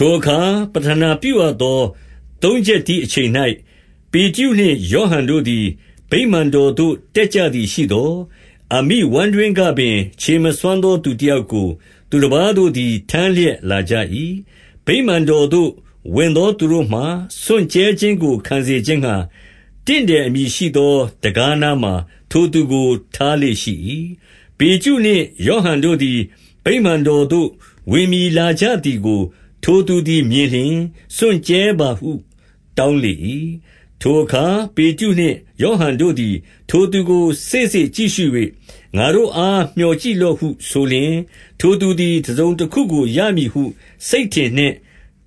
ထိုအခါပဌနာပြုရသော သုံးချက်တီးအချိန်၌ ပေတရုနှင့် ယောဟန်တို့သည် ဗိမာန်တော်သို့ တက်ကြ သည်ရှိသော်၊ 2 အမိဝမ်းတွင်းကပင်ခြေမစွမ်းသော သူတယောက်ကို သူတပါးတို့သည်ထမ်းလျက်လာကြ၏။ ဗိမာန် တော်သို့ဝင်သောသူတို့မှာ စွန့်ကြဲခြင်းကိုခံစေခြင်းငှါ၊ တင့်တယ်အမည်ရှိသော တံခါးနားမှာ ထိုသူကိုထား လေ့ရှိ၏။ 3 ပေတရုနှင့်ယောဟန်တို့သည် ဗိမာန်တော်သို့ဝင်မည် လာကြသည်ကို ထိုသူသည်မြင်လျှင် စွန့်ကြဲပါဟု တောင်းလေ၏။ 4 ထိုအခါပေတရုနှင့် ယောဟန်တို့သည် ထိုသူကိုစေ့စေ့ကြည့်ရှု၍ ငါတို့အား မျှော်ကြည့်လော့ဟုဆိုလျှင်၊ 5 ထိုသူသည်တစုံတခုကို ရမည်ဟုစိတ်ထင်နှင့်